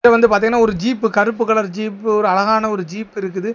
இது வந்து பாத்தீங்கன்னா ஒரு ஜீப்பு கருப்பு கலர் ஜீப்பு ஒரு அழகான ஜீப் இருக்குது.